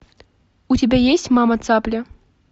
у тебя есть мама цапля